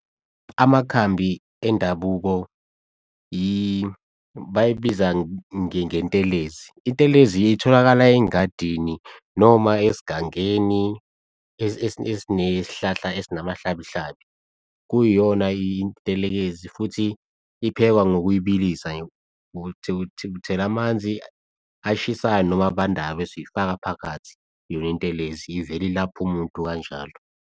Amakhambi endabuko bayibiza ngentelezi, intelezi-ke itholakala ey'ngadini noma esigangeni esinesihlahla esinamahlabihlabi. Kuyiyona intelezi futhi iphekwa ngokuyibilisa, uthela amanzi ashisayo noma abandayo bese uyifaka phakathi le ntelezi, ivele ilapho umuntu kanjalo.